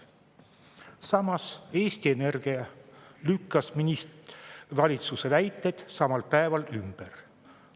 Samas, Eesti Energia lükkas valitsuse väited samal päeval ümber.